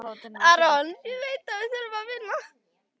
Þremur mánuðum síðar tók